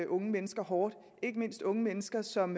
unge mennesker hårdt ikke mindst unge mennesker som